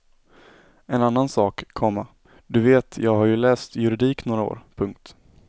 En annan sak, komma du vet jag har ju läst juridik några år. punkt